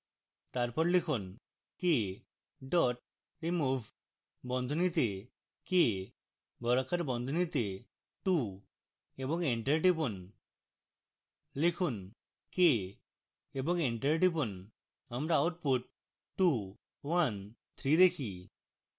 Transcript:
তারপর লিখুন k dot remove বন্ধনীতে k বর্গাকার বন্ধনীতে two এবং enter টিপুন লিখুন k এবং enter টিপুন আমরা output 213 দেখি